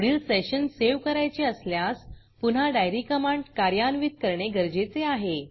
पुढील session save करायचे असल्यास पुन्हा डायरी डाइयरीकमांड कार्यान्वित करणे गरजेचे आहे